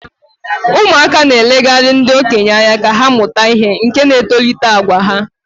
ụmụaka na-elegara ndị okenye anya ka ha mụta ihe, nke na-etolite àgwà ha